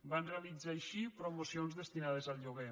van realitzar així promocions destinades al lloguer